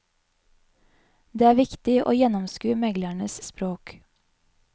Det er viktig å gjennomskue meglerens språk.